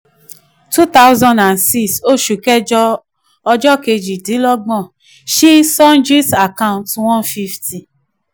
two thousand and six oṣù kẹjọ ọjọ́ kejìdínlọ́gbọ̀n ṣí sundries account one fifty